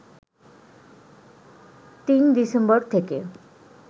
৩ December থেকে